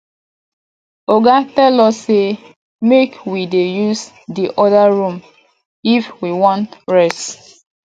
oga tell us say make we dey use the other room if we wan rest